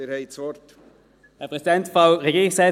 Sie haben das Wort.